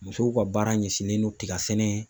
Musow ka baara ɲɛsinnen no tiga sɛnɛ